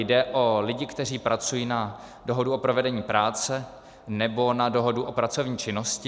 Jde o lidi, kteří pracují na dohodu o provedení práce nebo na dohodu o pracovní činnosti.